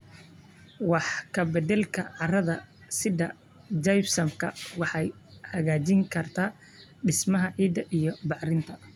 Wax ka beddelka carrada sida gypsum waxay hagaajin kartaa dhismaha ciidda iyo bacrinta.